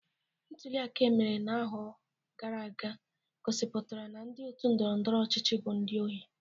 Ntuliaka emere na-ahọ gara aga gosipụtara na ndi otu ndọrọndọrọ ọchịchị bụ ndi ohi.